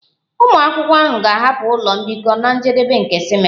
Ụmụ akwụkwọ ahụ ga-ahapụ ụlọ mbikọ na njedebe nke simesta